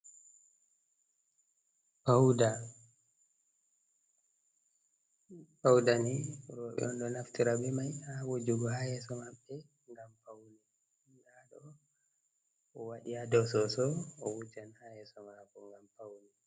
Pauda pauɗa ni robe on ɗo naftira be mai ha wajugo ha yeso mabbe ngam pauna ɗo waɗi ha dow soso owujan ha yeso mabbe ngam paune.